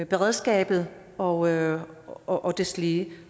beredskabet og og deslige